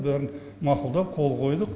бәрін мақұлдап қол қойдық